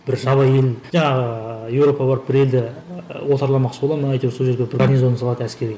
бір жабайы ел жаңағы европаға барып бір елді отарламақшы бола ма әйтеуір сол жерге бір гарнизон салады әскери